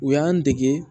U y'an dege